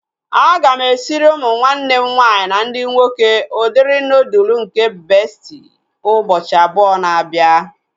Aga m esiri ụmụ nwanne m nwaanyị ndị nwoke udiri nuudu nke bestị ụbọchị abụọ na-abịa